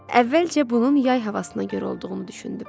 Əvvəlcə bunun yay havasına görə olduğunu düşündüm.